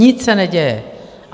Nic se neděje!